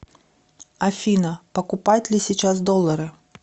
афина покупать ли сейчас доллары